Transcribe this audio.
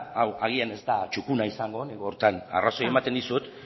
agian hau ez da txukuna izango nik horretan arrazoia ematen dizut